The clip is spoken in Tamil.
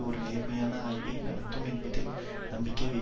ஒரு நேர்மையான ஆய்வை நடத்தும் என்பதில் நம்பிக்கை வை